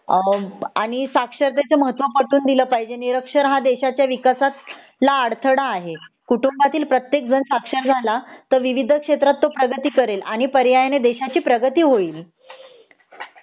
आणि अ साक्षरतेच महत्व पटवून दिल पाहिजे निरक्षर हा देशच्या विकासात ला अडथळा आहे कुटुंबातील प्रत्येक जण साक्षर झाला तर विविध क्षेत्रात तो प्रगती करेल आणि पर्यायाने देशाची प्रगती होईल